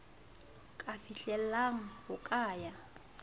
ka fihlellang ho ka ya